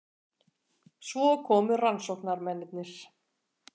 Svo komu rannsóknarmennirnir.